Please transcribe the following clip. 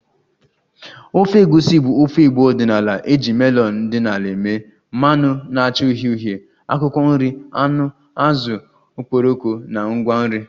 Ofe Egusi bụ ofe igbo ọdịnala e ji melon dị n'ala mee, mmanụ na-acha uhie uhie, akwụkwọ nri, anụ, azụ, okporoko na ngwa nri